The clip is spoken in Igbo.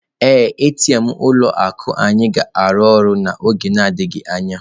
Ee, ATM ụlọ akụ anyị ga-arụ ọrụ n'oge adịghị anya.